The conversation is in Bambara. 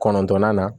Kɔnɔntɔnnan na